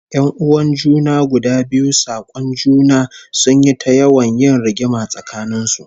Yan'uwan junan guda biyu sak'on juna, sun yi ta yawan yin rigima tsakanin su